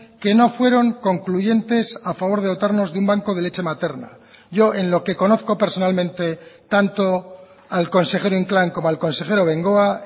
que no fueron concluyentes a favor de dotarnos de un banco de leche materna yo en lo que conozco personalmente tanto al consejero inclán como al consejero bengoa